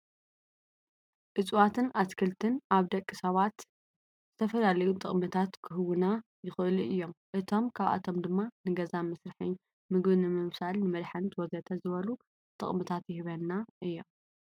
እፀዋትን ኣትክልትን ኣብ ደቂ ሰባት ዝተፈላለዩ ጠቅምታት ክህቡና ይክእሉ እዮም ካብኣቶም ድማ ንገዛ መስርሒ ፣ምግቢ ንምብሳል፣ ንመድሓኒት፣ ወዘተ... ዝበሉ ጠቅምታት ይህብና እዮም።